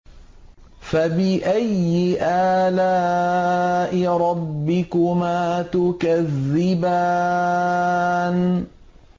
فَبِأَيِّ آلَاءِ رَبِّكُمَا تُكَذِّبَانِ